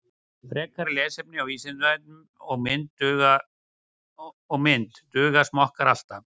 Frekara lesefni á Vísindavefnum og mynd Duga smokkar alltaf?